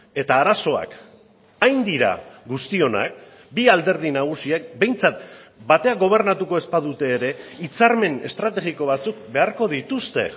eta arazoak hain dira guztionak bi alderdi nagusiek behintzat batean gobernatuko ez badute ere hitzarmen estrategiko batzuk beharko dituzte